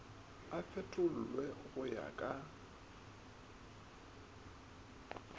a fetolwe go ya ka